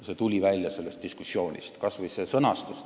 See tuli diskussioonist välja, kas või sellest sõnastusest.